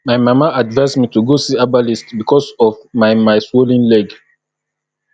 my mama advice me to go see herbalist because of my my swollen leg